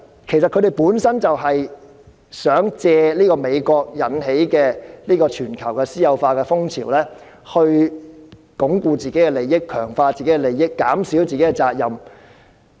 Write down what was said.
其實，他們就是想借美國引起的全球私有化風潮，鞏固自己的利益、強化自己的利益，減少自己的責任。